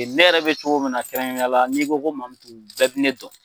Ne yɛrɛ bɛ cogo min na kɛrɛnkɛrɛnnenya la n'i ko Mamutu bɛɛ bɛ ne dɔn.